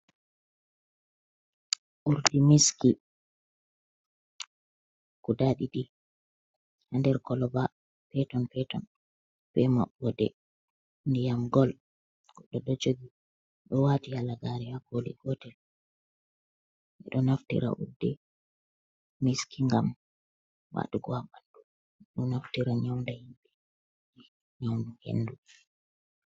Urdi miski guda ɗiɗi ha nder koloba peton-peton, ɓe maɓɓode ndiyam gol. Goɗɗo ɗo jogi ɗo wati halagare hakooli gotel. Ɓe ɗo naftira urdi miski ngam waɗugo ha bandu ɓe ɗo naftira nyaunda himbe, nya'u hendu.